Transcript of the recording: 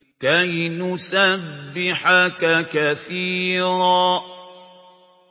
كَيْ نُسَبِّحَكَ كَثِيرًا